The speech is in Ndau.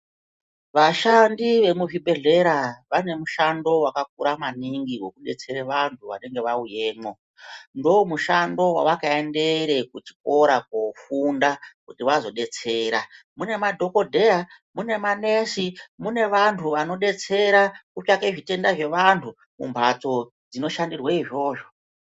Vashandi vemu zvibhedhlera vane mushando wakakura maningi wekubetsera vantu vanenge vauyemwo . Ndomushando wavakaendere kuchikora kofunda kuti vazodetsera . Mune madhokodheya mune manesi mune vantu vanodetsera kutsvaka zvitenda zvevantu mumhatso dzinoshandirwe izvozvo.